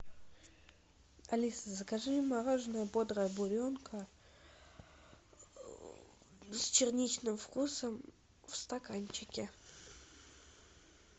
алиса закажи мороженое бодрая буренка с черничным вкусом в стаканчике